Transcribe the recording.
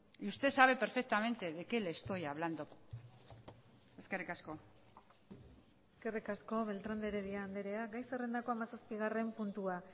y usted sabe perfectamente de qué le estoy hablando eskerrik asko eskerrik asko beltrán de heredia andrea gai zerrendako hamazazpigarren puntua